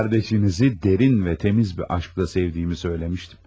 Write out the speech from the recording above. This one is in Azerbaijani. Qız qardaşınızı dərin və təmiz bir aşkla sevdiyimi söyləmişdim.